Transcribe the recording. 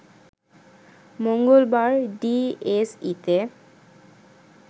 মঙ্গলবার ডিএসইতে